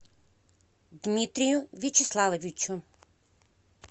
дмитрию вячеславовичу